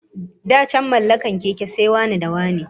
Da can mallakar keke ma sai wane-da-wane